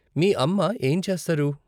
మీ అమ్మ ఏం చేస్తారు?